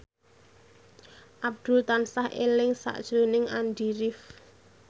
Abdul tansah eling sakjroning Andy rif